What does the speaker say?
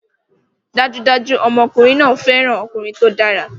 Dájúdájú! Ọmọkùnrin náà fẹ́ràn ọkùnrin tó dára